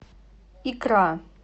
икра